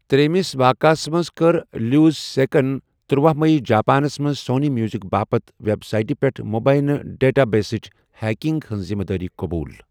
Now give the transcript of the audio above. ترٛیٚیمِس واقعَس منٛز کٔر لیوزسیکَن تٔرۄہُ مئی جاپانَس منٛز سونی میوٗزک باپت ویب سایٹہِ پیٹھ مبینہ ڈیٹا بیسٕچ ہیکنگ ہِنٛز ذٕمدٲری قبول۔